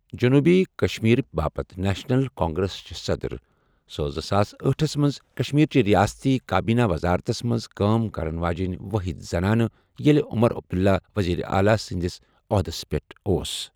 جۆنوٗبی کشمیرٕ باپتھ National Congress چہ صَدٕر، سۄ ٲس زٕساس أٹھ ہس مَنٛز کشمیر چہ ریاستی کابینہ وزارتس مَنٛز کٲم کرن واجیٚنۍ وٲحد زنانہٕ ییٚلہ عمر عبداللہ وزیر اعلی سٕنٛدذ عہدَس پؠٹھ اوس۔